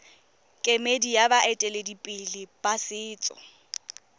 kemedi ya baeteledipele ba setso